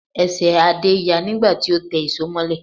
Ẹsẹ̀ Adé ya nígbà tí ó tẹ ìṣó mọ́lẹ̀